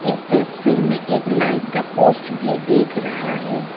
इस तस्वीर में एक लाइट का पोस्ट भी दिख रहा है।